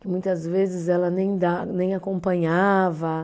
Muitas vezes ela nem da, nem acompanhava.